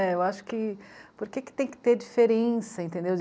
Né. Eu acho que... Por que tem que ter diferença, entendeu?